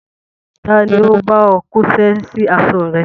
Ta ni ó bá ọ kóṣẹ́ sí aṣọ rẹ?